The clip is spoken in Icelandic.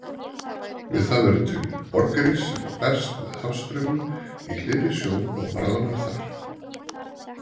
Við það verður til borgarís sem berst með hafstraumum í hlýrri sjó og bráðnar þar.